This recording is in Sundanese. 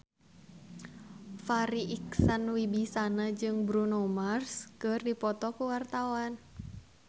Farri Icksan Wibisana jeung Bruno Mars keur dipoto ku wartawan